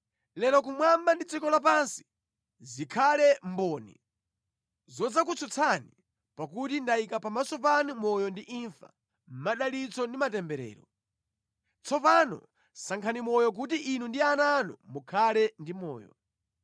Lero kumwamba ndi dziko lapansi zikhale mboni zodzakutsutsani pakuti ndayika pamaso panu moyo ndi imfa, madalitso ndi matemberero. Tsopano sankhani moyo kuti inu ndi ana anu mukhale ndi moyo.